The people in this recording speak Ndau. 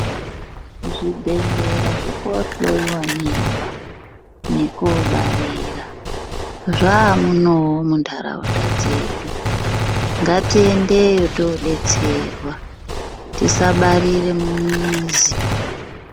Zvibhedhlera zvekohloiwa mimba nekobarira zvamunomu muntaraunda dzedu ngatiendeyo todetserwa tisabarira mumizi.